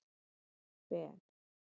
Ben